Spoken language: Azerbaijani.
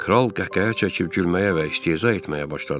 Kral qəhqəhə çəkib gülməyə və istehza etməyə başladı.